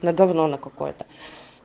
на говно на какое-то